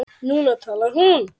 Núna talar hún.